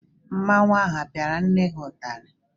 Mmọnwụ apịara nne gị ụtarị?